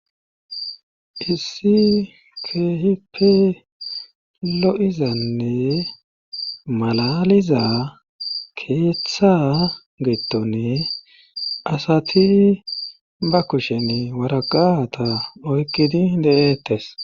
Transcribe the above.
Issi kehipe lo'izanne malaliza keethttha geettonne asati ba kushen waraqata oykkidi de'eettes.